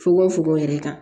Fokon fokon yɛrɛ kan